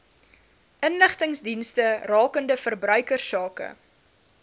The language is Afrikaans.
inligtingsdienste rakende verbruikersake